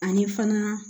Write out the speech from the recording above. Ani fana